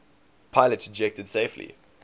pilots ejected safely